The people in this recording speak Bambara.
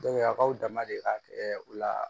a k'aw dama deli ka kɛ u la